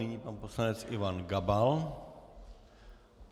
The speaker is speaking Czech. Nyní pan poslanec Ivan Gabal.